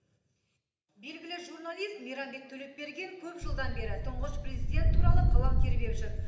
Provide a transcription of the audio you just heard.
белгілі журналист мейрамбек төлепберген көп жылдан бері тұңғыш президент туралы қалам тербеп жүр